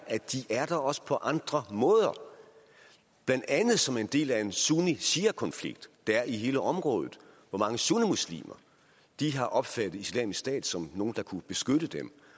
der også på andre måder blandt andet som en del af en sunni shia konflikt der er i hele området hvor mange sunnimuslimer har opfattet islamisk stat som nogle der kunne beskytte dem